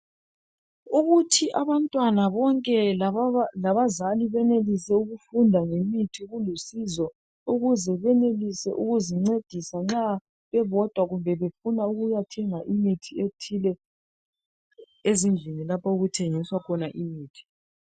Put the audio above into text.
ukuthi abantwana bonke labazali benelise ukufunda ngemithi kulusizo ukuze benelise ukuzincedisa nxa bebodwa kumbe nxa befuna ukuyathenga imithi ethile ezindlini lapho okuthengiswa khona imithi